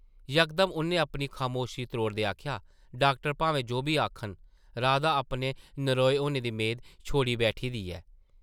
यकदम उʼन्नै अपनी खमोशी त्रोड़दे आखेआ, डाक्टर भामें जो बी आखन, राधा अपने नरोए होने दी मेद छोड़ी बैठी दी ऐ ।